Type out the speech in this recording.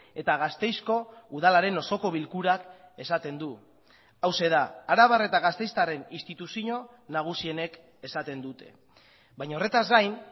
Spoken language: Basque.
eta gasteizko udalaren osoko bilkurak esaten du hauxe da arabar eta gasteiztarren instituzio nagusienek esaten dute baina horretaz gain